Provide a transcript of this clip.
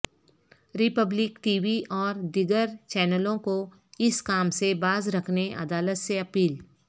republic TV اور دیگرچینلوں کو اسکام سے باز رکھنے عدالت سے اپیل